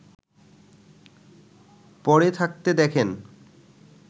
পড়ে থাকতে দেখেন